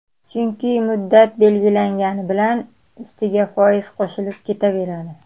Chunki muddat berilgani bilan ustiga foiz qo‘shilib ketaveradi.